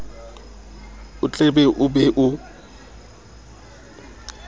o tletlebe o be o